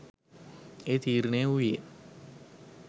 එය තීරණය වූයේ